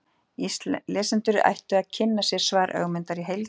lesendur ættu að kynna sér svar ögmundar í heild